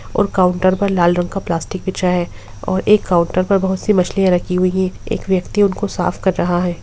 और काउंटर पर लाल रंग का प्लास्टिक बिछा है और एक काउंटर पर बहुत सी मछलियां रखी हुई है एक व्यक्ति उनको साफ कर रहा है।